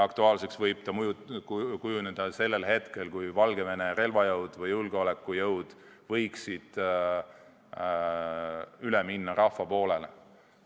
Aktuaalseks võib see kujuneda siis, kui Valgevene relvajõud või julgeolekujõud võivad üle minna rahva poolele.